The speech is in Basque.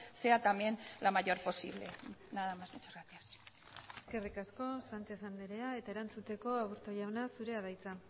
sea también la mayor posible nada más muchas gracias eskerrik asko sánchez andrea eta erantzuteko aburto jauna zurea da hitza